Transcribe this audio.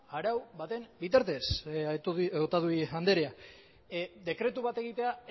arau baten bitartez otadui andrea dekretu bat egitea